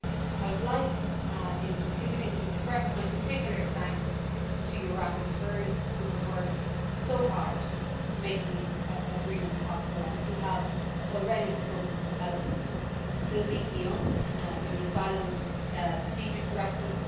I would like, in concluding, to express my particular thanks to your rapporteurs, who have worked so hard to make these agreements possible and who have already spoken so eloquently Sylvie Guillaume for the Asylum Procedures Directive